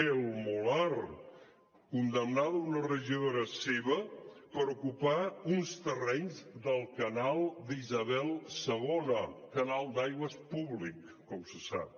el molar condemnada una regidora seva per ocupar uns terrenys del canal d’isabel ii un canal d’aigües públic com se sap